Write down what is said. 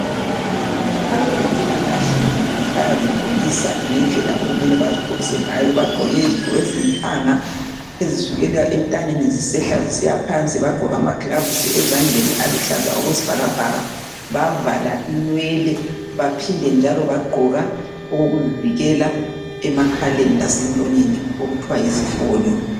Abezempilakahle bayazigqokisa ngendlela okumele bazigqokise ngayo. Bagqoke izigqoko ezilithanga ezisukela entanyeni zisehka zisiyaphansi bagqoka amagilovisi ezandleni aluhlaza okwesibhakabhaka bavala inwele baphinde njalo bagqoke okokuvala emakhaleni lasemlonyeni okuthiwa yizifonyo